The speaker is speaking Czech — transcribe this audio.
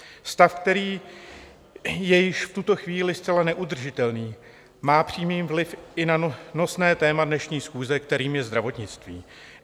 Stav, který je již v tuto chvíli zcela neudržitelný, má přímý vliv i na nosné téma dnešní schůze, kterým je zdravotnictví.